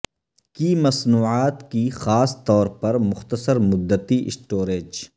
کی مصنوعات کی خاص طور پر مختصر مدتی سٹوریج